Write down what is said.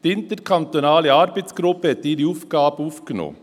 Die interkantonale Arbeitsgruppe hat ihre Aufgabe aufgenommen.